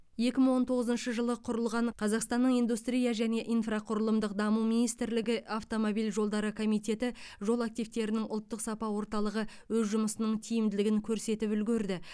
екі мың он тоғызыншы жылы құрылған қазақстанның индустрия және инфроқұрылымдық даму министрлігі автомобиль жолдары комитеті жол активтерінің ұлттық сапа орталығы өз жұмысының тиімділігін көрсетіп үлгерді